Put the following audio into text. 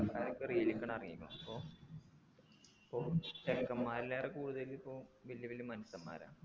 ഞാനിപ്പോ reel എക്കാൻ ഇറങ്ങിക്കു അപ്പൊ ചെക്കമ്മാരെല്ലാരും കൂടുതലിപ്പോ വെല്യ വല്യ മനുശന്മാരാ